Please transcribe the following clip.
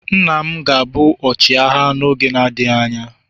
Nna m ga-abụ ọchịagha n'oge na-adịghị anya.